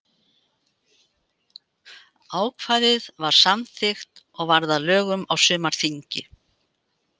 Ákvæðið var samþykkt og varð að lögum á sumarþingi.